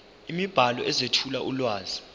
imibhalo ezethula ulwazi